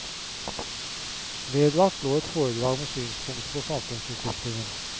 Vedlagt lå et foredrag med synspunkter på samfunnsutviklingen.